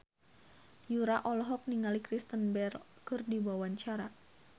Yura olohok ningali Kristen Bell keur diwawancara